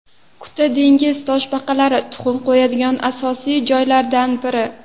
Kuta dengiz toshbaqalari tuxum qo‘yadigan asosiy joylardan biri.